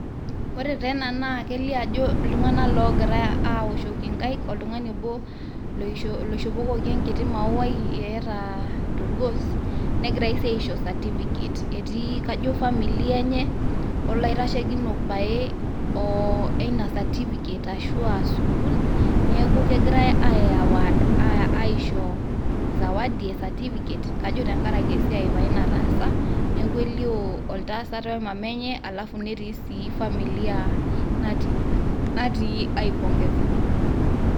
Ore taa ena naa kelio ajo iltung'anak loogira aaoshoki inkaik oltung'ani obo, loishopokoki enkiti mauai eata tolgos negirai sii aisho certificate. Etii kajo familia enye olaitashekinok pae leina certificate ashua leina sukuul neaku kegirai aiaward aisho zawadi. Kajo tenkaraki pae esiai nataasa. Neaku elio entasat oemama enye alafu netii sii familia natii aipongeza.